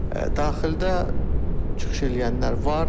Daxildə çıxış eləyənlər var.